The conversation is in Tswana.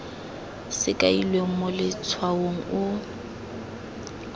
se kailweng mo letshwaong o